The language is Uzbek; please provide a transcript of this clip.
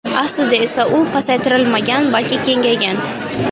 Aslida esa u pasaytirilmagan, balki kengaygan.